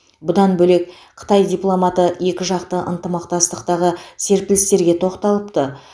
бұдан бөлек қытай дипломаты екіжақты ынтымақтастықтағы серпілістерге тоқталыпты